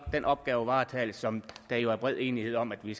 den opgavevaretagelse som der jo er bred enighed om at vi